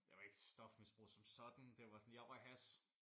Jeg var ikke stofmisbruger som sådan det var sådan jeg røg hash